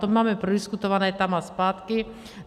To máme prodiskutované tam a zpátky.